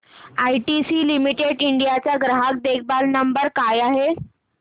ITC limited India चा ग्राहक देखभाल नंबर काय आहे